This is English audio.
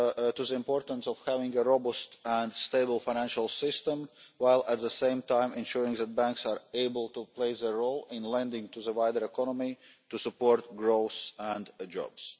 to the importance of having a robust and stable financial system, while at the same time ensuring that banks are able to play their role in lending to the wider economy to support growth and jobs.